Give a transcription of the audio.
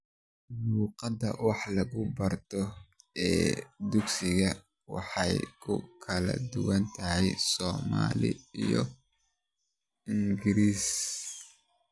Luuqadda wax lagu barto ee dugsiyadu way ku kala duwan tahay Soomaali iyo Ingiriisi.